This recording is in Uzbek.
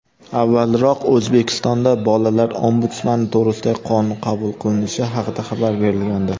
avvalroq O‘zbekistonda "Bolalar Ombudsmani to‘g‘risida"gi qonun qabul qilinishi haqida xabar berilgandi.